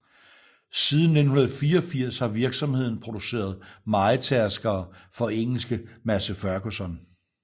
Siden 1984 har virksomheden produceret mejetærskere for engelske Massey Ferguson